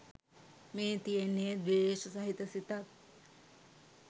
මේ තියෙන්නේ ද්වේෂ සහිත සිතක්